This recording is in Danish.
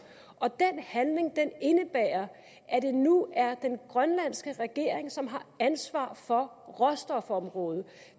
og den handling indebærer at det nu er den grønlandske regering som har ansvar for råstofområdet